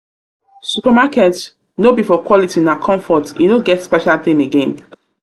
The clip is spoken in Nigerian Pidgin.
supermarket no be for quality na comfort; e no get special thing again.